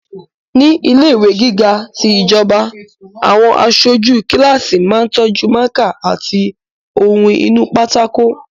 Ní ilẹ̀ ìwé gíga ti ìjọba, àwọn aṣojú kíláàsì máa tọ́jú mákà àti ohun inú pátákó